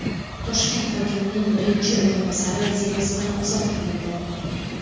Toshkent hokimining birinchi o‘rinbosari vazifasidan ozod qilindi.